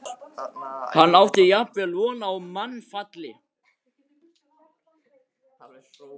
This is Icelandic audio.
Hann átti jafnvel von á mannfalli.